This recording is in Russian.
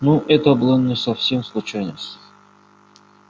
ну это была не совсем случайность